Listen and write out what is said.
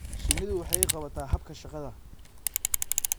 Shinnidu waxay qabataa habka shaqada.